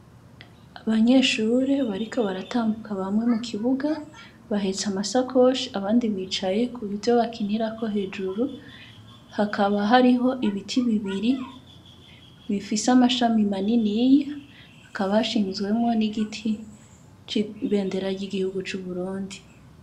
Abanyeshuri bariko baratambuka bamwe mu kibuga bahetse amasakoshi abandi bicaye kuvyo bakinirako hejuru hakaba hariho ibiti bibiri bifisse amashami maniniya hakaba hashinzwemwo n'igiti c'ibendera ry'igihugu cu Burundi.